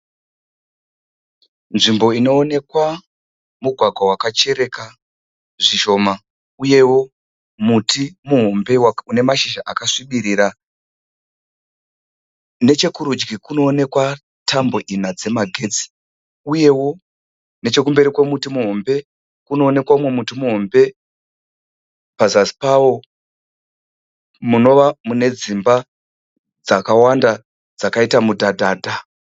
Nzvimbo inookwa mugwagwa wakachereka zvishoma uyewo muti muhombe une mashizha akasvibirira. Nechekurudyi kunoonekwa tambo ina dzamagetsi uye nechekumberi kwemuti muhombe kunoonekwa umwe muti muhombe pazasi pawo munova mune dzimba dzakawanda dzakaita mudhadhadha.